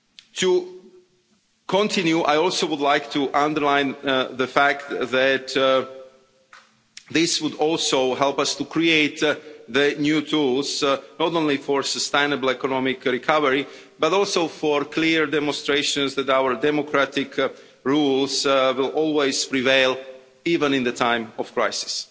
To continue, I also would like to underline the fact that this would also help us to create the new tools not only for sustainable economic recovery, but also for clear demonstrations that our democratic rules will always prevail even in times of crisis.